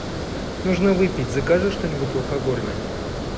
нужно выпить закажи что нибудь алкогольное